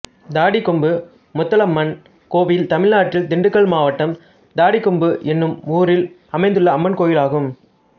தாடிக்கொம்பு முத்தாளம்மன் கோயில் தமிழ்நாட்டில் திண்டுக்கல் மாவட்டம் தாடிக்கொம்பு என்னும் ஊரில் அமைந்துள்ள அம்மன் கோயிலாகும்